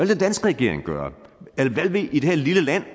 den danske regering gøre hvad vil det her lille land